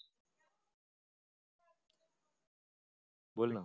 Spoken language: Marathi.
बोल ना.